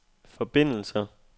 forbindelser